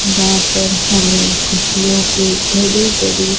यहां पर हमें खुज्जियोंके बड़ी बड़ी--